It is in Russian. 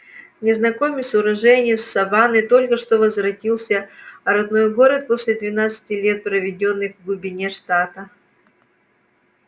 незнакомец уроженец саванны только что возвратился а родной город после двенадцати лет проведённых в глубине штата